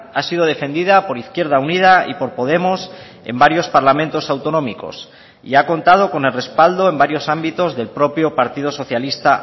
ha sido defendida por izquierda unida y por podemos en varios parlamentos autonómicos y ha contado con el respaldo en varios ámbitos del propio partido socialista